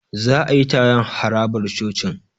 Za a yi taron a harabar cocin.